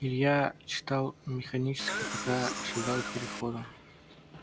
илья читал механически пока шагал к переходу